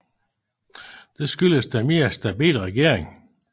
Det skyldes den mere stabile regering